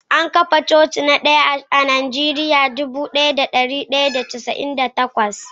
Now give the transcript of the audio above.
An kafa coci na daya a Najeriya a shekara ta dubu daya da dari da casa'in da takwas